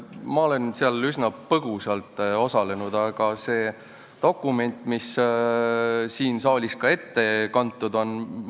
Ma olen seal üsna põgusalt osalenud, aga ka siin saalis on ette kantud see dokument.